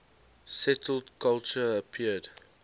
settled culture appeared